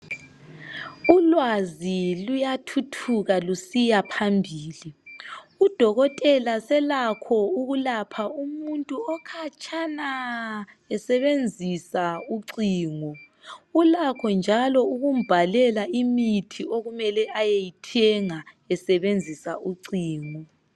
Ulwazi luyathuthuka lusiya phambili, udokotela selakho ukulapha umuntu okhatshana esebenzisa ucingo. Ulakho njalo ukumbhalela imithi okumele ayeyithenga esebenzisa ucingo.